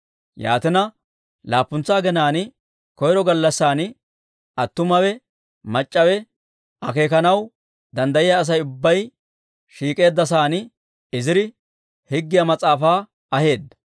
Yaatina, laappuntsa aginaan koyro gallassan, attumawe mac'c'awe, akeekanaw danddayiyaa Asay ubbay shiik'k'eedda sa'aan Iziri Higgiyaa Mas'aafaa aheedda.